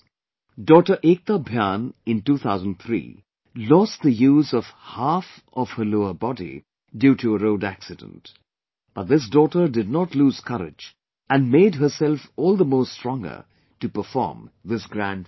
Daughter Ekta Bhyan in 2003, lost the use of half of her lower body due to road accident, but this daughter did not lose courage and made herself all the more stronger to perform this grand feat